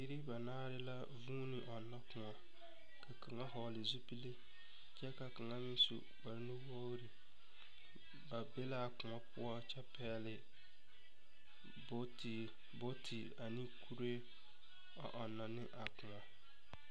Biiri banaare la vuuni ɔnnɔ kõɔ. Ka kaŋa hɔgele zupile kyɛ ka kaŋa meŋ su kpare nuwogiri. Baa be la a kõɔ poɔ kyɛ pɛgele bootiri, bootiri amne kuree a ɔnnɔ ne a kõɔ.